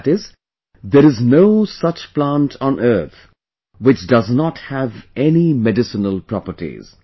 That is, there is no such plant on earth which does not have any medicinal properties